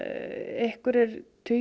einhverjir tugir